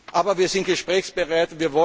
geben. Aber wir sind gesprächsbereit.